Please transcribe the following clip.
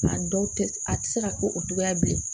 A dɔw tɛ a tɛ se ka ko o togoya bilen